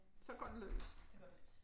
Så går det løs